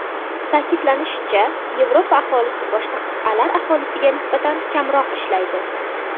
Ta’kidlanishicha, Yevropa aholisi boshqa qit’alar aholisiga nisbatan kamroq ishlaydi.